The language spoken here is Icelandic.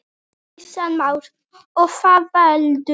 Kristján Már: Og hvað veldur?